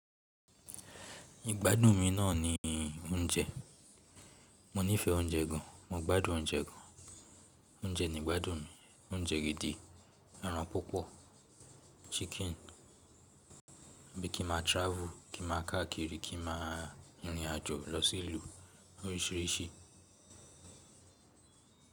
Igbádùn mi náà ni oúnjẹ. Mo nífẹ̀ẹ́ oúnjẹ gan, mo gbádùn oúnjẹ gan. Oúnjẹ ni ìgbádùn mi, oúnjẹ gidi, ẹran púpọ̀, chíkìn, bí i kí máa travel, kí ma káàkiri, kí ma rìnrìn àjò lọ sí ìlú oríṣiríṣi.